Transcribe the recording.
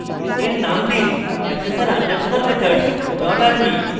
এর name দিন accessor _ methods rb